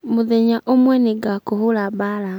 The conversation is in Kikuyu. mũthenya umwe nĩngakũhũũra mbaara.